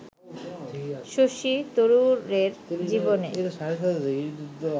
শশী তরুরের জীবনে